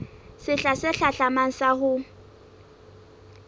sehla se hlahlamang sa ho